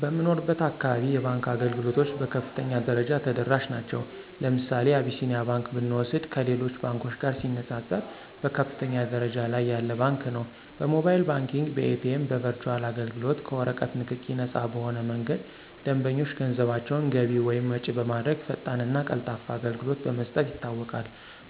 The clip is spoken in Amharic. በምኖርበት አካባቢ የባንክ አገልግሎቶች በከፍተኛ ደረጃ ተደራሽ ናቸዉ። ለምሳሌ አብሲኒያ ባንክ ብንወስድ ከሌሎች ባንኮች ጋር ሲነፃፀር በከፍተኛ ደረጃ ላይ ያለ ባንክ ነው። በሞባይል ባንኪንግ፣ በኤቲኤም፣ በበርቹአል አገልግሎት፣ ከወረቀት ንክኪ ነፃ በሆነ መንገድ ደንበኞች ገንዘባቸውን ገቢ እና ወጭ በማድረግ ፈጣንና ቀልጣፋ አገልግሎት በመስጠት ይታወቃል።